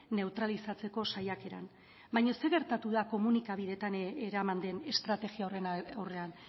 neutralizatzeko saiakeran baina zer gertatu da komunikabidetan eraman den estrategia horren aurrean